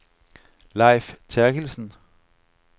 Lejf Terkildsen